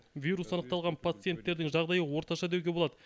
вирус анықталған пациенттердің жағдайы орташа деуге болады